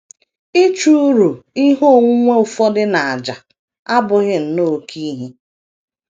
Ịchụ uru ihe onwunwe ụfọdụ n’àjà abụghị nnọọ oké ihe.